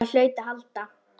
Það hlaut að halda.